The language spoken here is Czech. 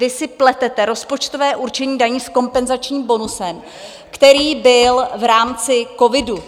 Vy si pletete rozpočtové určení daní s kompenzačním bonusem, který byl v rámci covidu.